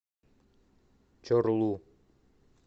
чорлу